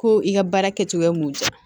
Ko i ka baara kɛcogoya mun di yan